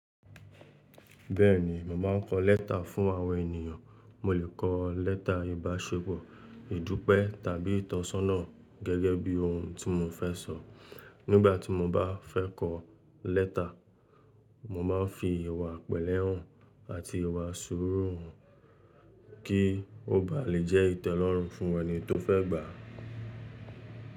Bẹ́ẹ̀ ni, mo máa ń kọ lẹ́tà fún àwọn ènìyàn. Mò lè kọ lẹ́tà ìbáṣepọ̀, ìdúpẹ́ tàbí ìtọ́sọ́nà gẹ́gẹ́ bí ohun tí mo fẹ́ sọ. Nígbà tí mo bá fẹ́ kọ lẹ́tà, mo máa ń fi ìwà pẹlẹ́ hàn àti ìwà súùrú hàn, kí ó bá lè jẹ́ ìtẹ́lọ́rùn fún ẹni tó fẹ́ gbà á.